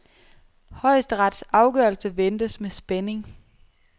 Højesterets afgørelse ventes med spænding.